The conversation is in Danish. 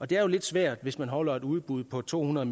det er jo lidt svært hvis man holder et udbud på to hundrede